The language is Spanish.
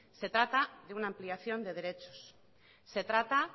se trata de una ampliación de derechos se trata